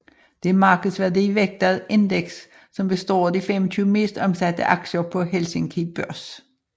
Det er markedsværdi vægtet indeks som består af de 25 mest omsatte aktier på Helsinki Børs